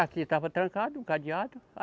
Aqui estava trancado o cadeado.